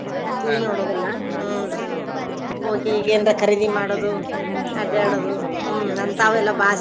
TV ನೋಡುದಿಲ್ಲಾ ಹುನ್ರೀ ಹೋಗಿ ಏನ್ರಾ ಕರಿದಿ ಮಾಡೋದು ಅದ್ಯಾಡೋದು ಹ್ಮ್ ಅಂತಾವೆಲ್ಲಾ ಬಾಳ್.